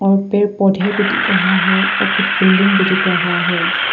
और पेड़ पौधे भी दिख रहा है और कुछ बिल्डिंग भी दिख रहा है।